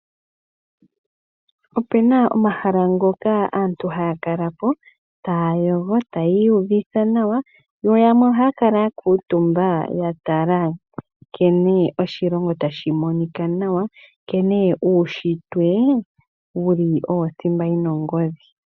Opu na omahala ngoka aantu haa kala po taa yogo, tayii uvitha nawa yo yamwe ohaya kala ya kuutumba ya tala nkene oshilongo tashi monika nawa, nkene uushitwe wuli owo othimba yi na ongodhi.